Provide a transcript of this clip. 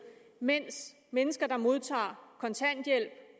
mens mennesker der modtager kontanthjælp